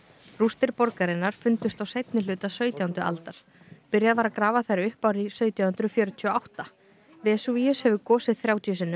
rústir borgarinnar fundust á seinni hluta sautjándu aldar byrjað var að grafa þær upp árið sautján hundruð fjörutíu og átta vesúvíus hefur gosið þrjátíu sinnum